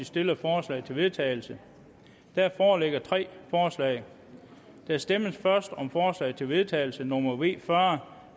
stillede forslag til vedtagelse der foreligger tre forslag der stemmes først om forslag til vedtagelse nummer v fyrre